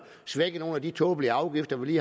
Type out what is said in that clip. svække nogle af de tåbelige afgifter vi